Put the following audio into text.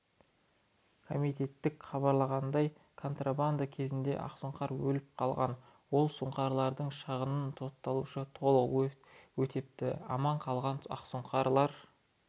комитеттен хабарланғандай контрабанда кезінде ақсұңқар өліп қалған ол сұңқарлардың шығынын сотталушы толық өтепті аман қалған ақсұңқар